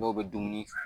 Dɔw bɛ dumuni